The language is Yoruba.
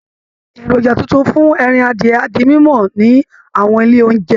Èròjà tuntun fún ẹran adìyẹ á di mímọ̀ ní àwọn ilé oúnjẹ